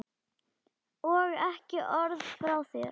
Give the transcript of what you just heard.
Og ekki orð frá þér!